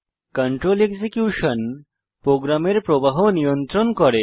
control execution প্রোগ্রামের প্রবাহ নিয়ন্ত্রণ করে